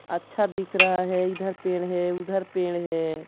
अच्छा दिख रहा है इधर पेड़ है उधर पेड़ है।